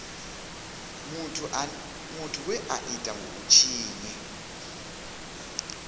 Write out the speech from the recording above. muthu we a ita vhutshinyi